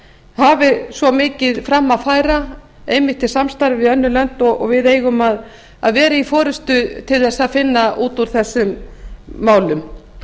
hafi svo mikið fram að færa einmitt í samstarfi við önnur lönd og við eigum að vera í forustu til að finna út úr þessum málum